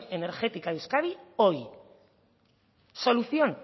energética de euskadi hoy solución